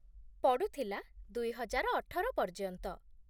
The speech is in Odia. ପଡ଼ୁଥିଲା, ଦୁଇହଜାର ଅଠର ପର୍ଯ୍ୟନ୍ତ।